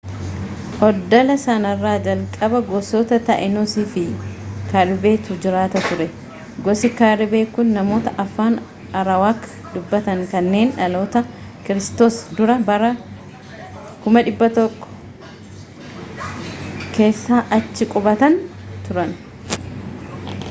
oddola sanarra jalqaba gosoota taínos fi caribe tu jiraata ture. gosi caribe kun namoota afaan arawaak dubbatan kanneen dhaloota kiristoos dura bara 10,000 keessa achi qubatan turan